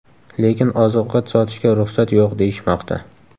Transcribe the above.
Lekin oziq-ovqat sotishga ruxsat yo‘q deyishmoqda.